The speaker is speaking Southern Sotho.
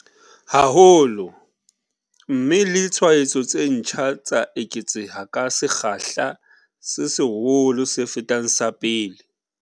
Haholo, mme le tshwaetso tse ntjha tsa eketseha ka sekgahla se seholo se fetang sa pele.